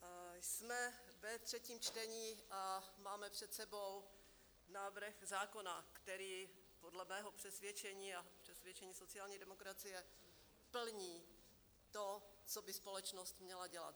Jsme ve třetím čtení a máme před sebou návrh zákona, který dle mého přesvědčení a přesvědčení sociální demokracie plní to, co by společnost měla dělat.